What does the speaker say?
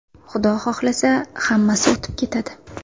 Xudo xohlasa, hammasi o‘tib ketadi.